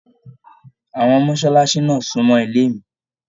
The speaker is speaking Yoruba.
Àwọn mọsálásí náà sunmọ ilé mí.